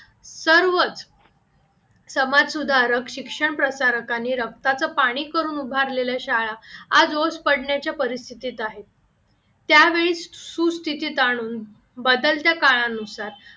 सर्वच समाज सुधारक शिक्षण प्रसारकाने रक्ताचे पाणी करून उभारलेल्या शाळा आज ओस पडण्याच्या परिस्थितीत आहे त्यावेळेस सुस्थितीत आणून बदलत्या काळानुसार